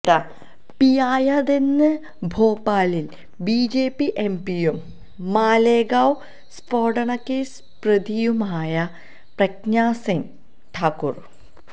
പിയായതെന്ന് ഭോപാലിലെ BJP എംപിയും Malegaon സ്ഫോടനക്കേസ് പ്രതിയുമായ Pragya Singh Thakur